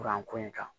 Kuran ko in kan